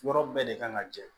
Yɔrɔ bɛɛ de kan ka jɛ